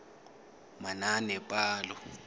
manaanepalo